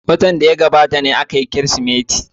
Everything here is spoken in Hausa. Watan da ya gabata ne aka yi bikin Kirsimeti.